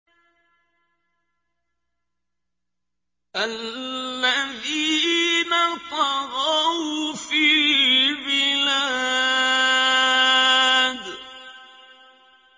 الَّذِينَ طَغَوْا فِي الْبِلَادِ